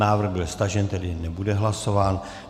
Návrh byl stažen, tedy nebude hlasován.